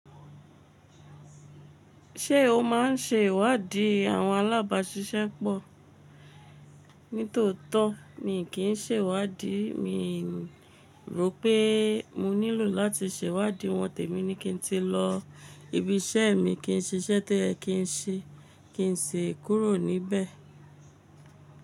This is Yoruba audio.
Ṣé o máa ń ṣe ìwádìí àwọn alábàáṣiṣẹ́ pọ̀? Ní tòótọ́, mi kì í ṣe ìwádìí. Mi rò pé mo nílò láti ṣe ìwádìí wọn, tẹ̀ mí ní kí n ti lọ ibi iṣẹ́ mi, kí n ṣiṣẹ́ tó yẹ kí n ṣe kí n sì kúrò níbẹ̀.